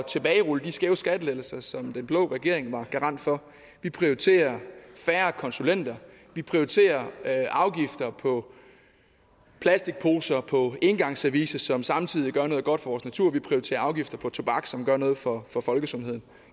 tilbagerulle de skæve skattelettelser som den blå regering var garant for vi prioriterer færre konsulenter vi prioriterer afgifter på plastikposer og engangsservice som samtidig gør noget godt for vores natur vi prioriterer afgifter på tobak som gør noget for for folkesundheden